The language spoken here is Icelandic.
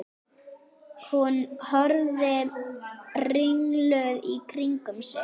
Hún horfir ringluð í kringum sig.